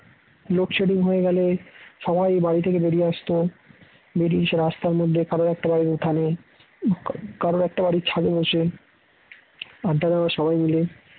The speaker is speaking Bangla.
লোডশেডিং হয়ে গেলে সবাই বাড়ি থেকে বেরিয়ে আসতো বেরিয়ে এসে রাস্তার মধ্যে কারোর একটা বাড়ির উঠানে কারো একটা বাড়ির ছাদে বসে আড্ডা দেওয়ার সবাই মিলে